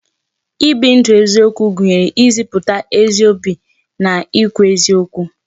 I bi ndu eziokwu gụnyere ịzịputa ezi obi na I kwu eziokwu